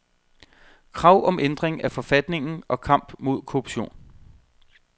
Krav om ændring af forfatningen og kamp mod korruption.